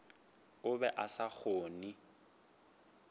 o be a sa kgone